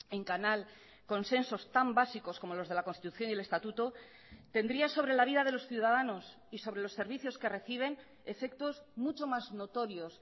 en canal consensos tan básicos como los de la constitución y el estatuto tendría sobre la vida de los ciudadanos y sobre los servicios que reciben efectos mucho más notorios